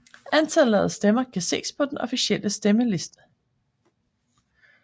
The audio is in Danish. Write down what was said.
Antallet af stemmer kan ses på den officielle stemme side